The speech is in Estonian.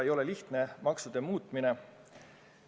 Ega maksude muutmine lihtne ei ole.